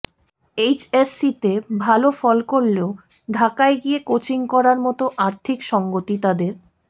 এইচএসসিতে ভালো ফল করলেও ঢাকায় গিয়ে কোচিং করার মতো আর্থিক সঙ্গতি তাদের